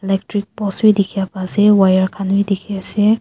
electric post bhi dekhi pai ase wire khan bhi dekhi ase.